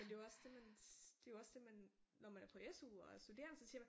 Men det er jo også det man det er jo også det man når man er på SU og er studerende så siger man